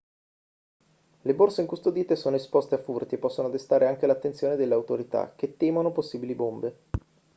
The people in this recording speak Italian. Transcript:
le borse incustodite sono esposte a furti e possono destare anche l'attenzione delle autorità che temono possibili bombe